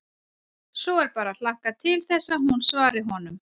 Svo er bara að hlakka til þess að hún svari honum.